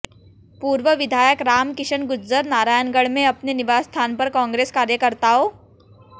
पूर्व विधायक राम किशन गुज्जर नारायणगढ़ में अपने निवास स्थान पर कांग्रेस कार्यकर्ताओं